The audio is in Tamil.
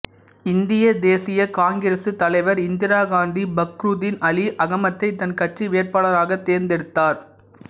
இந்திய தேசிய காங்கிரசு தலைவர் இந்திரா காந்தி பக்ரூதின் அலி அகமதை தன் கட்சி வேட்பாளராகத் தேர்ந்தெடுத்தார்